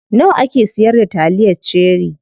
Nawa ake siyar da taliyar cherie?